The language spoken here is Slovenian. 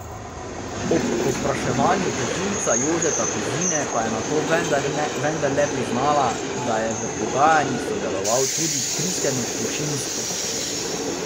Ob podvprašanju tožilca Jožeta Kozine pa je nato vendarle priznala, da je v pogajanjih sodeloval tudi Kristjan Sušinski.